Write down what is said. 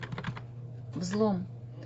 взлом